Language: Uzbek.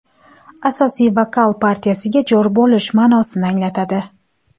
Asosiy vokal partiyasiga jo‘r bo‘lish ma’nosini anglatadi.